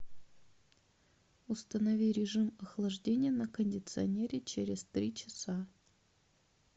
установи режим охлаждения на кондиционере через три часа